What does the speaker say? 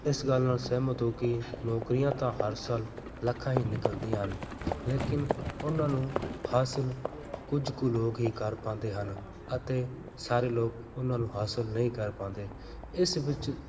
ਇਸ ਗੱਲ ਨਾਲ ਸਹਿਮਤ ਹੋ ਕਿ ਨੌਕਰੀਆਂ ਤਾਂ ਹਰ ਸਾਲ ਲੱਖਾਂ ਹੀ ਨਿਕਲਦੀਆਂ ਹਨ ਲੇਕਿੰਨ ਉਹਨਾਂ ਨੂੰ ਹਾਸ਼ਿਲ ਕੁੱਝ ਕੁ ਲੋਕ ਹੀ ਕਰ ਪਾਉਂਦੇ ਹਨ ਅਤੇ ਸਾਰੇ ਲੋਕ ਉਹਨਾਂ ਨੂੰ ਹਾਸ਼ਿਲ ਨਹੀਂ ਕਰ ਪਾਉਂਦੇ, ਇਸ ਵਿੱਚ